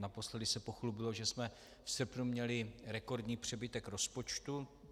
Naposledy se pochlubilo, že jsme v srpnu měli rekordní přebytek rozpočtu.